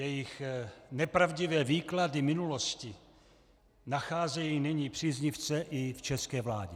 Jejich nepravdivé výklady minulosti nacházejí nyní příznivce i v české vládě.